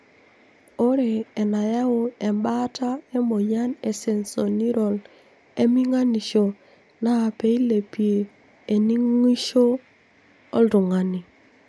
Ore enayau embaata emoyian esensorineural eminganisho na peilepie eningishoi oltungani.